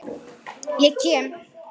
Ég kem.